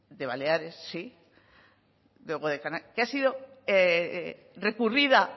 de baleares sí que ha sido recurrida